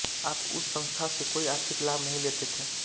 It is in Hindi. आप उस संस्था से कोई आर्थिक लाभ नहीं लेते थे